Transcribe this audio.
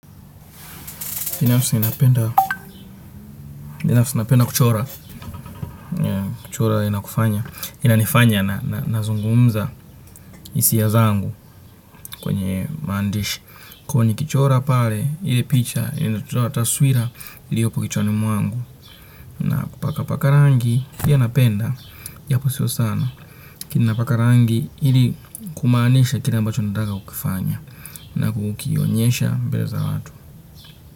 Binafsa napenda kuchora. Kuchora inakufanya. Inanifanya na zungumza hisia zangu kwenye maandishi. Kwa hiyo nikichora pale, ile picha, inatoa taswira iliyopo kichwani mwangu. Na kupaka paka rangi, pia napenda. Japo sio sana. Lakini napaka rangi ili kumaanisha kile ambacho nataka kukifanya. Na kukionyesha mbele za watu.